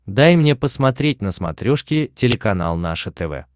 дай мне посмотреть на смотрешке телеканал наше тв